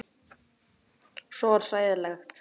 Svo hlægilegt pabbi þegar þú skýtur fram neðrigómnum.